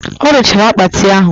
Ọ rụchara akpati ahụ